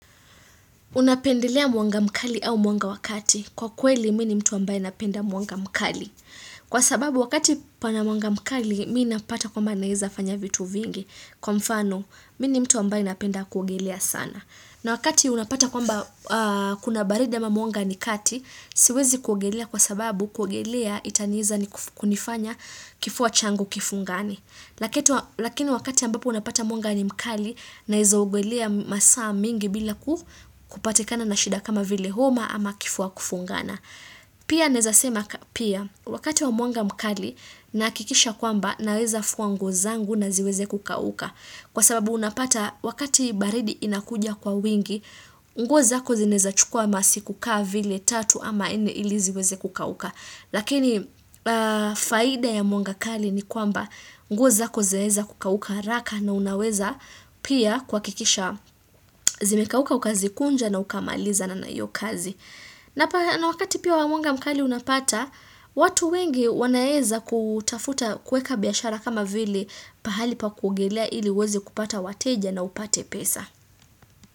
Unapendelea mwanga mkali au mwanga wa kati kwa kweli mi ni mtu ambaye napenda mwanga mkali. Kwa sababu wakati pana mwanga mkali mi ni napata kwamba naeza fanya vitu vingi kwa mfano mi ni mtu ambaye napenda kuogelea sana. Na wakati unapata kwamba kuna baridi ama mwanga ni kati siwezi kuogelea kwa sababu kuogelea itaniiza kunifanya kifua changu kifungane na kitu Lakini wakati ambapo unapata mwanga ni mkali naezaogelea masaa mingi bila kupatikana na shida kama vile homa ama kifua kufungana. Pia naeza sema pia wakati wa mwanga mkali nahakikisha kwamba naweza fua nguo zangu na ziweze kukauka. Kwa sababu unapata wakati baridi inakuja kwa wingi, nguo zako zinawezachukua masiku kaa vile tatu ama nne ili ziweze kukauka. Lakini faida ya mwanga kali ni kwamba nguo zako zaeza kukauka haraka na unaweza pia kuhakikisha zimekauka ukazikunja na ukamalizana na hiyo kazi. Na wakati pia mwanga mkali unapata, watu wengi wanaeza kutafuta kuweka biashara kama vile pahali pa kuogelea ili uweze kupata wateja na upate pesa.